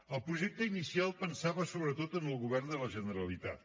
el projecte inicial pensava sobretot en el govern de la generalitat